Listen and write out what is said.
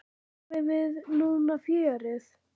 Fáum við núna fjörið?